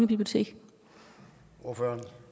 bibliotek hvor